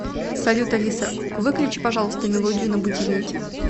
салют алиса выключи пожалуйста мелодию на будильнике